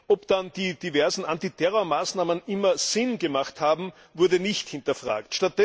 Ob dann die diversen Antiterrormaßnahmen immer sinnvoll waren, wurde nicht hinterfragt.